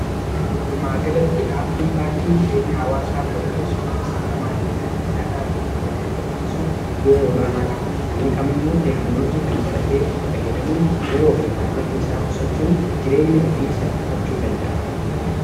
walumaagalatti aapdiin baankii jireenya hawaasaa fooyyeessuu fi sirna maallaqaa diijitaalaa biyya keessatti baballisuuf ga'ee olaanaa qaba namni kamiyyuu teeknoloojii kana baratee itti fayyadamuun yeroo fi maallaqa isaa qusachuun jireenya ofii salqifachuu danda'a